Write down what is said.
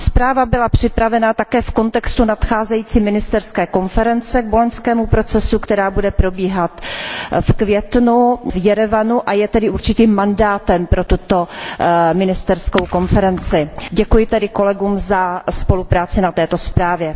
Zpráva byla připravena také v kontextu nadcházející ministerské konference k boloňskému procesu, která bude probíhat v květnu v Jerevanu, a je tedy určitým mandátem pro tuto ministerskou konferenci. Děkuji tedy kolegům za spolupráci na této zprávě.